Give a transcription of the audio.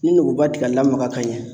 Ni nogoba ti ka lamaga ka ɲɛ